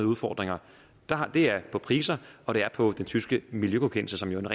udfordringer det er på priser og det er på den tyske miljøgodkendelse som jo